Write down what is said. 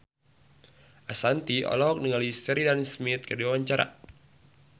Ashanti olohok ningali Sheridan Smith keur diwawancara